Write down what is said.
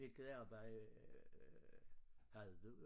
Hvilket arbejde øh havde du?